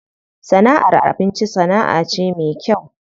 Sana'ar abinci sana'a ce me kyau.